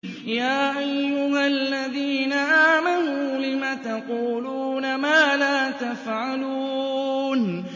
يَا أَيُّهَا الَّذِينَ آمَنُوا لِمَ تَقُولُونَ مَا لَا تَفْعَلُونَ